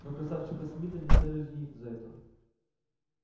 но красавчика смита не следует винить за это